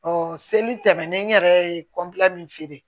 Ɔ seli tɛmɛnen yɛrɛ ye kɔnpilɛ min feere